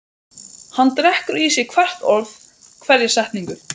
Hann drekkur í sig hvert orð, hverja setningu.